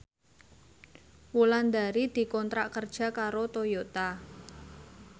Wulandari dikontrak kerja karo Toyota